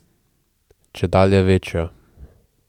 Čedalje večjo.